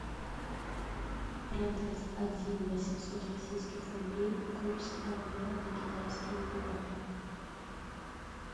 продать один восемьсот российских рублей курс обмена на китайские юани